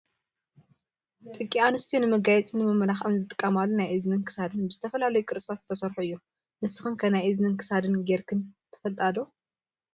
ደቂ ኣንስትዮ ንመጋየፅን ንመመላክዕን ዝጥቀማሉ ናይ እዝንን ክሳድን ብዝተፈላለዩ ቅርፅታት ዝተሰርሑ እዩ። ንስክን ከ ናይ እዝኒን ክሳድን ገርክን ትፈልጣ ዶ ?